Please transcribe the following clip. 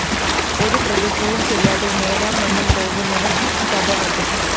ഒരു പ്രതിജ്ഞയും ചെയ്യാതെ നേരാംവണ്ണം പോകുന്നവര്‍ ശതവധി